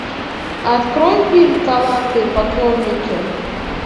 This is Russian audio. открой фильм таланты и поклонники